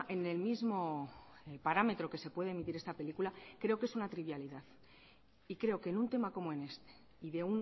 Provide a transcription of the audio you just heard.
en el mismo parámetro que se puede emitir esta película creo que es una trivialidad y creo que en un tema como en este y de